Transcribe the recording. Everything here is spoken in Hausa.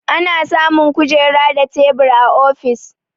Ana samun kujera da tebur a ofis.